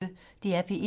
DR P1